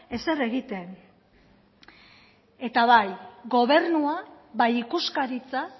ezer egiten eta bai gobernua bai ikuskaritza